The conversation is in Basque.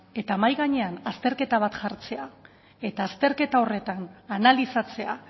eta mahai gainean azterketa bat jartzea eta azterketa horretan analizatzea